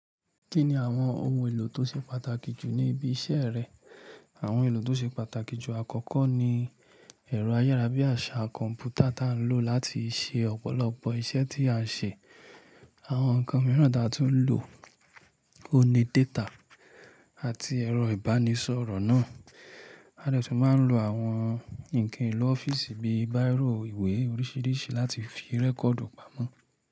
Kí ni àwọn ohun èlò tó ṣe pàtàkì jù ní ibi iṣẹ́ rẹ? Àwọn èlò tó ṣe pàtàkì jù àkọ́kọ́ ni ẹ̀rọ ayárabíàṣá kọ̀m̀pútà ta lò láti ṣe ọ̀pọ̀lọpọ̀ iṣẹ́ tí a ṣe. Àwọn ǹkan mìíràn ta tún lò ó ní data àti ẹ̀rọ ìbánisọ̀rọ̀ náà. A dè tún máa ń lo àwọn ǹkan èlò ọ́fíìsì bíi bírò, ìwé oríṣiríṣi láti fi rẹ́kọ̀dì pamọ́